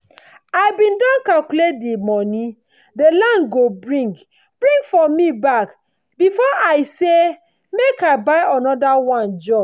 i bin don calculate dey moni dey land go bring bring for me back before i say make i buy anoda one join